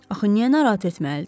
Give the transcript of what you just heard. Axı niyə narahat etməlidir?